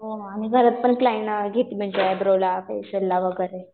आणि घरात पण क्लाएंट घेते म्हणजे आयब्रोला फेशिअल ला वगैरे.